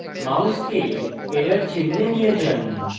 মাউসকে error চিহ্নে নিয়ে যান